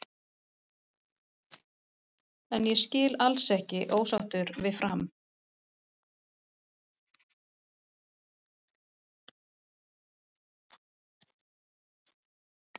En ég skil alls ekki ósáttur við Fram.